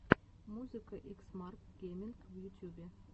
музыка икс марк геминг в ютюбе